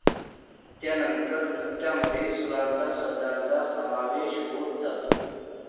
त्यानंतर नृत्यामध्ये सुरांचा, शब्दांचा समावेश होत जातो.